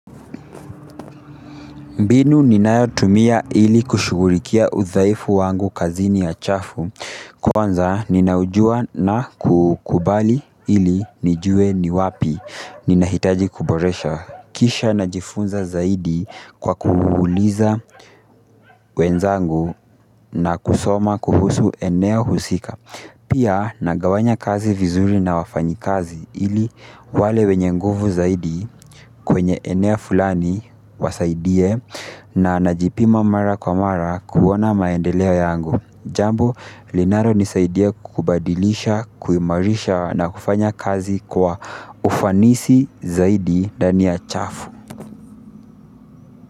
Mbinu ninayotumia ili kushughulikia udhaifu wangu kazini ya chafu, kwanza ninaujua na kuukubali ili nijue ni wapi, ninahitaji kuboresha, kisha na jifunza zaidi kwa kuuliza wenzangu na kusoma kuhusu eneo husika. Pia nagawanya kazi vizuri na wafanyakazi ili wale wenye nguvu zaidi kwenye eneo fulani wasaidie na najipima mara kwa mara kuona maendeleo yangu. Jambo, linalo nisaidia kubadilisha, kuimarisha na kufanya kazi kwa ufanisi zaidi dania chafu.